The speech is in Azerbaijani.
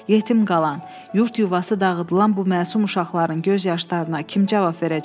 Yetim qalan, yurd-yuvası dağıdılan bu məsum uşaqların göz yaşlarına kim cavab verəcək?